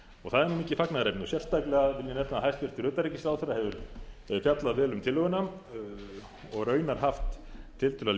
og það er mikið fagnaðarefni sérstaklega vil ég nefna að hæstvirtur utanríkisráðherra hefur fjallað vel um tillöguna og raunar haft tiltölulega